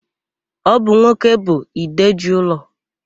Ọ bụ nwoke bụ ide ji ụlọ.